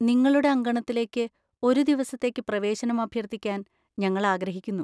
നിങ്ങളുടെ അങ്കണത്തിലേക്ക് ഒരു ദിവസത്തേക്ക് പ്രവേശനം അഭ്യർത്ഥിക്കാൻ ഞങ്ങൾ ആഗ്രഹിക്കുന്നു.